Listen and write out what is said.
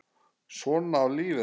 Svona á lífið að vera.